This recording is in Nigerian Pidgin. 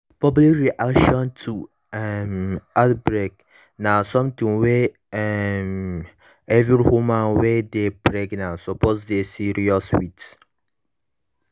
public reaction to um outbreak na something wey um every woman wey dey pregnant suppose dey serious with